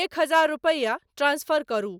एक हजार रुपैया ट्रांसफर करू ?